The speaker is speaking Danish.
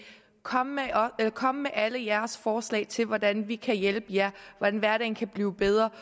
kom med kom med alle jeres forslag til hvordan vi kan hjælpe jer hvordan hverdagen kan blive bedre